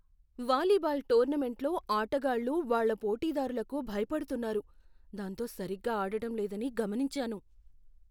Volleyball టోర్నమెంట్లో ఆటగాళ్ళు వాళ్ళ పోటీదార్లకు భయపడుతున్నారు, దాంతో సరిగా ఆడటం లేదని గమనించాను.